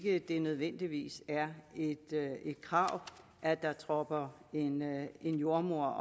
ikke det nødvendigvis er et krav at der tropper en en jordemoder